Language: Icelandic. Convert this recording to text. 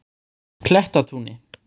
Klettatúni